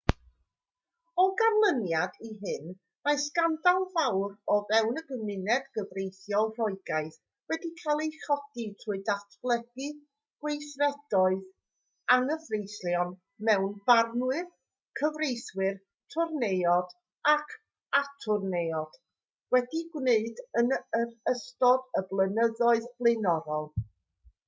o ganlyniad i hyn mae sgandal fawr o fewn y gymuned gyfreithiol roegaidd wedi cael ei chodi trwy ddatgelu gweithredoedd anghyfreithlon mae barnwyr cyfreithwyr twrneiod ac atwrneiod wedi'u gwneud yn ystod y blynyddoedd blaenorol